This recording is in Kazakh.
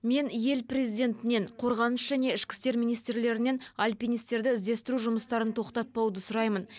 мен ел президентінен қорғаныс және ішкі істер министрлерінен алпинистерді іздестіру жұмыстарын тоқтатпауды сұраймын